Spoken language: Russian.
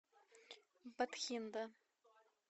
батхинда